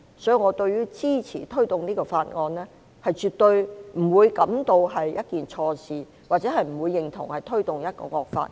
所以，我對於支持推動這項法案，絕對不感覺是一件錯事，亦不認同是推動一項惡法。